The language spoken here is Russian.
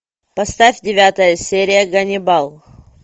поставь девятая серия ганнибал